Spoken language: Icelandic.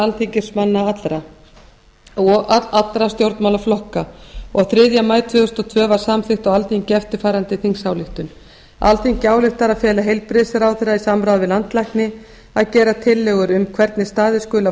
alþingismanna og allra stjórnmálaflokka og þriðja í maí tvö þúsund og tvö var samþykkt á alþingi eftirfarandi þingsályktun alþingi ályktar að fela heilbrigðisráðherra í samráði við landlækni að gera tillögur um hvernig staðið skuli að